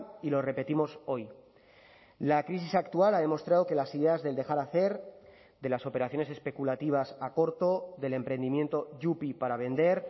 y lo repetimos hoy la crisis actual ha demostrado que las ideas del dejar hacer de las operaciones especulativas a corto del emprendimiento yupi para vender